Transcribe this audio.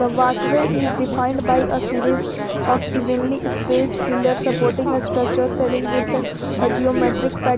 Walkway is defined by a series of evenly space pillar supporting a structure selling with a geometric pat .